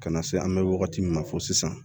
Ka na se an bɛ wagati min na fo sisan